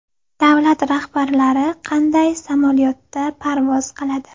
Davlat rahbarlari qanday samolyotda parvoz qiladi?